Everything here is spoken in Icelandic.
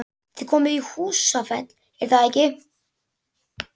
Þið komið í Húsafell, er það ekki?